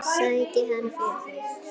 Sæki hann fyrir þig.